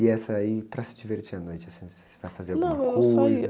E essa aí, e para se divertir à noite, assim, você vai fazer alguma coisa?ão,